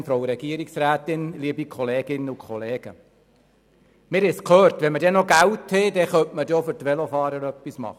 Wenn wir dann noch Geld haben, können wir auch für die Velofahrer noch etwas tun.